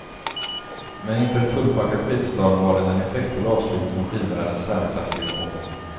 Men inför ett fullpackat skidstadion var den en effektfull avslutning av skidvärldens särklassige konung.